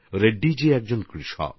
তিনি একজন কৃষক